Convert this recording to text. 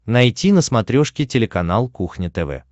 найти на смотрешке телеканал кухня тв